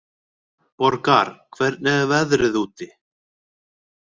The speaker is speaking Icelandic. Borgar, hvernig er veðrið úti?